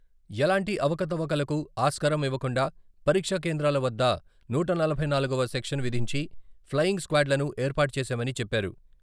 ఎలాంటి అవకతవకలకు ఆస్కారం ఇవ్వకుండా పరీక్షా కేంద్రాల వద్ద నూట నలభై నాలుగువ సెక్షన్ విధించి, ప్లెయింగ్ స్క్వాడ్లను ఏర్పాటు చేశామని చెప్పారు.